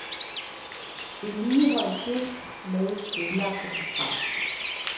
Vedligehold disk med vedlagte program.